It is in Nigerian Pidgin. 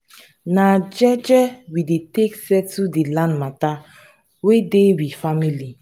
na jeje we take settle di land mata wey dey we family.